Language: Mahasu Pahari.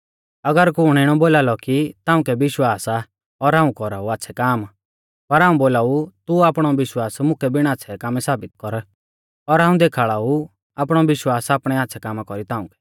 अगर कुण इणौ बोला कि ताउंकै विश्वास आ और हाऊं कौराऊ आच़्छ़ै काम पर हाऊं बोलाऊ तू आपणौ विश्वास मुकै बिण आच़्छ़ै कामै साबित कर और हाऊं देखाल़ा ऊ आपणौ विश्वास आपणै आच़्छ़ै कामा कौरी ताउंकै